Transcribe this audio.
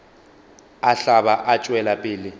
a hlaba a tšwela pele